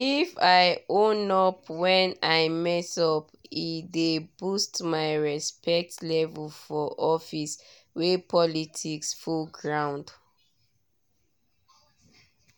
if i own up when i mess up e dey boost my respect level for office wey politics full ground.